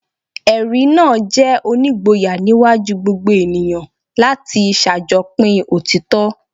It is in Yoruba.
Ẹ̀rí náà jẹ́ onígboyà níwájú gbogbo ènìyàn láti ṣàjọpín òtítọ́. "